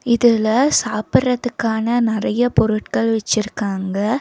இதுல சாப்பிறதுக்கான நெறைய பொருட்கள் வச்சிருக்காங்க.